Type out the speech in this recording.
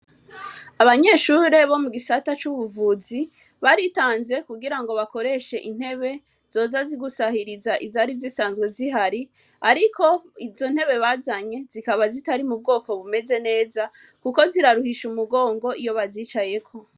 Abanyeshure bo mugisata c' ubuvuzi baritanze kugira ngo bakoreshe intebe zoza zisahiriza izari zihari ariko izo ntebe bazanye zikaba zikaba zitari mubwoko bumeze neza kuko ziraruhisha umugongo iyo bazicayeko.